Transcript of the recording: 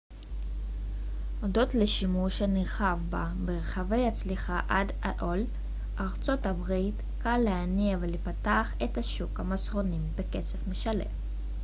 הודות לשימוש הנרחב בה ברחבי ארצות הברית aol הצליחה עד כה להניע ולפתח את שוק המסרונים בקצב משלה